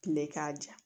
Tile k'a ja